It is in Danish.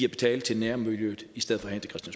at betale til nærmiljøet i stedet